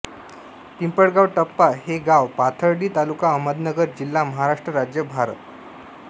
पिंपळगाव टप्पा हे गाव पाथर्डी तालुका अहमदनगर जिल्हा महाराष्ट्र राज्य भारत